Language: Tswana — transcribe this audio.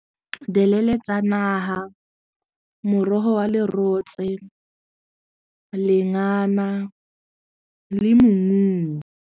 tsa naha morogo wa lerotse, lengana le mmu.